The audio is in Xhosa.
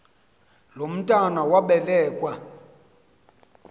lo mntwana wabelekua